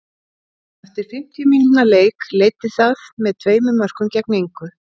Eftir fimmtíu mínútna leik leiddi það með tveimur mörkum gegn engu.